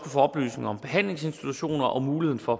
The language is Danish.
få oplysning om behandlingsinstitutioner og muligheden for